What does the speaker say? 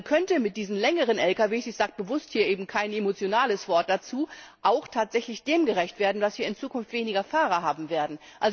Man könnte mit diesen längeren Lkw ich sage bewusst hier eben kein emotionales Wort dazu auch tatsächlich dem gerecht werden, dass wir in Zukunft weniger Fahrer haben werden.